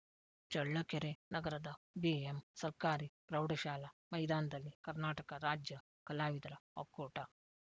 ಚಳ್ಳಕೆರೆ ನಗರದ ಬಿಎಂ ಸರ್ಕಾರಿ ಪ್ರೌಢಶಾಲಾ ಮೈದಾನದಲ್ಲಿ ಕರ್ನಾಟಕ ರಾಜ್ಯ ಕಲಾವಿದರ ಒಕ್ಕೂಟ